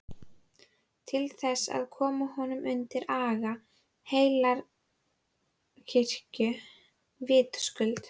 Til þess að koma honum undir aga heilagrar kirkju, vitaskuld!